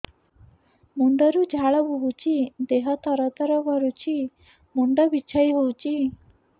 ମୁଣ୍ଡ ରୁ ଝାଳ ବହୁଛି ଦେହ ତର ତର କରୁଛି ମୁଣ୍ଡ ବିଞ୍ଛାଇ ହଉଛି